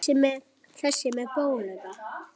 Það er ekkert að óttast.